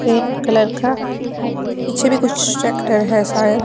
pink colour का पीछे भी कुछ ट्रैक्टर है शायद--